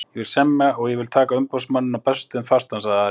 Ég vil semja og ég vil taka umboðsmanninn á Bessastöðum fastan, sagði Ari.